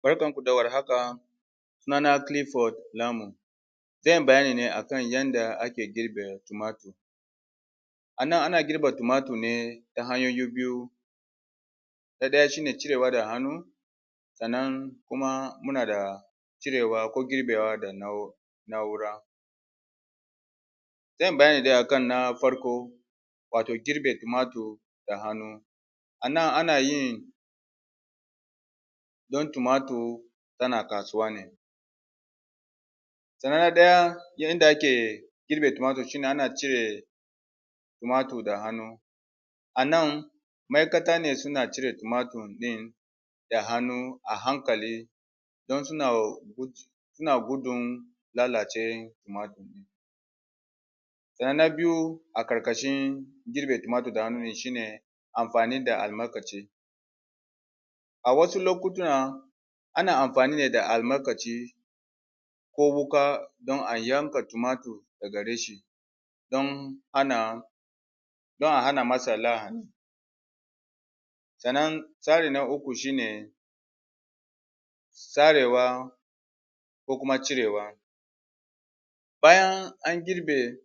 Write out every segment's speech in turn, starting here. Barkan ku da warhaka sunana zanyi bayani ne akan yadda ake girbe tumatir anan ana girbe tumatir ne ta hanyoyi biyu na daya shine cirewa da hannu sannan kuma muna da cirewa ko girbewa da na'ura zanyi bayani ne a nafarko wato girbe tumatir da hannu ana nan ana yin don tumatir tana kasuwa ne sannan na daya yadda akin girbin tumatir shine ana cire tumatir da hannu anan ma'aikata ne suna cire tumatir din da hannu a hankali don suna gudun lalace wan tumatir sannan na biyu a karkashin girbe tumatir da hannu shine amfani da almakashi a wasu lokuta ana amfani ne da almakashi ko wuka don a yanka tumatir daga reshe don ana don a hanamasa lahani sannan tsari na uku shine sarewa ko kuma cirewa bayan an girbe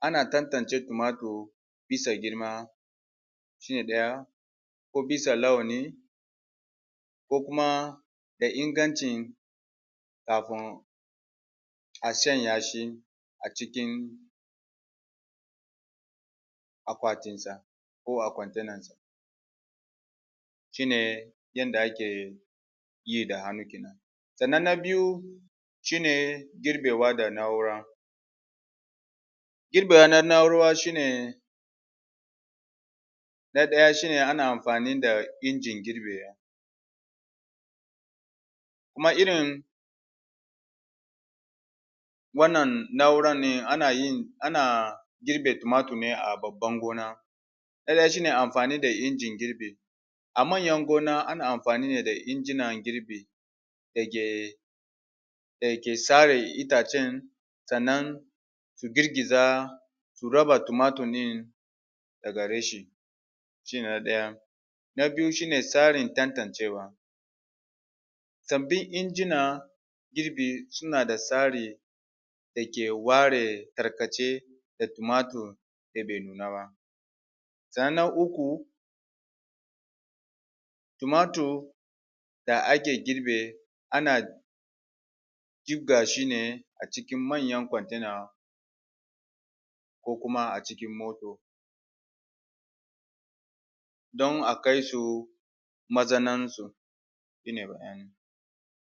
ana tantance tumatir bisa girma shine daya ko bisa lawani ko kuma da ingancin kafin a sanya shi acikin akwatin sa ko a kwante nansa shine yadda ake yi da hannu kenan sannan na biyu shine girbewa da na'ura gir bewa na na'ura shine na daya shine ana amfani da injin girbewa kuma irin wannan na'uran ne anayin ana girbe tumatir ne a babban gona na daya shine amfani injin girbi a manyan gona ana amfani ne da injinan girbi da ke dake sare itacen sannan su girgiza su raba tumatir din daga reshe shine na daya na biyu shine tsarin tantancewa sabbin injina girbi suna da tsari da ke ware tarkace da tumatir da be nuna ba sannan na uku tumatir da ake girbe ana jibgashi ne acikin manyan kwantena ko kuma acikin moto don akaisu mazaunen su shine bayanin